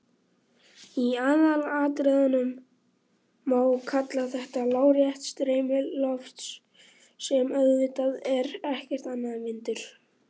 Í aðalatriðum má kalla þetta lárétt streymi lofts sem auðvitað er ekkert annað en vindur.